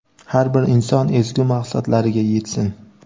har bir inson ezgu maqsadlariga yetsin!.